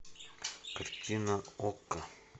картина окко